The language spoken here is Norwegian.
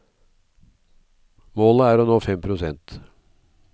Målet er å nå fem prosent.